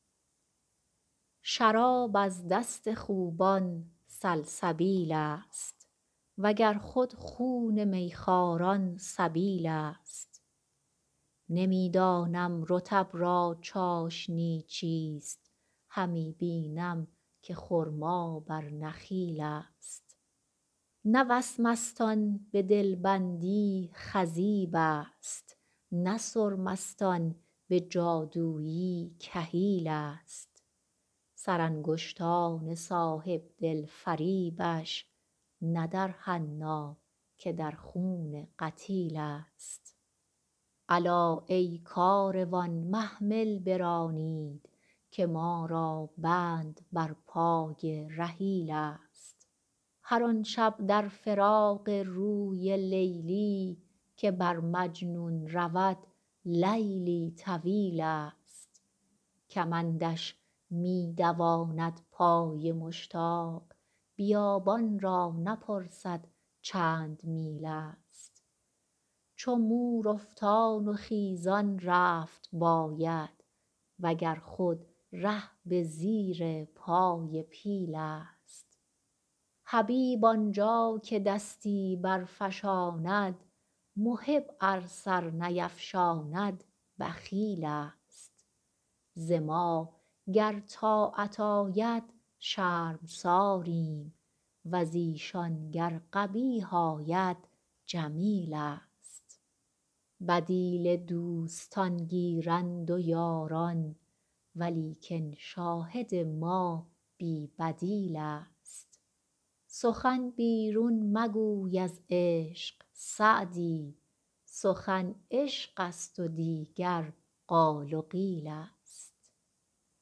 شراب از دست خوبان سلسبیل ست و گر خود خون می خواران سبیل ست نمی دانم رطب را چاشنی چیست همی بینم که خرما بر نخیل ست نه وسمست آن به دل بندی خضیب ست نه سرمست آن به جادویی کحیل ست سرانگشتان صاحب دل فریبش نه در حنا که در خون قتیل ست الا ای کاروان محمل برانید که ما را بند بر پای رحیل ست هر آن شب در فراق روی لیلی که بر مجنون رود لیلی طویل ست کمندش می دواند پای مشتاق بیابان را نپرسد چند میل ست چو مور افتان و خیزان رفت باید و گر خود ره به زیر پای پیل ست حبیب آن جا که دستی برفشاند محب ار سر نیفشاند بخیل ست ز ما گر طاعت آید شرمساریم و ز ایشان گر قبیح آید جمیل ست بدیل دوستان گیرند و یاران ولیکن شاهد ما بی بدیل ست سخن بیرون مگوی از عشق سعدی سخن عشق ست و دیگر قال و قیل ست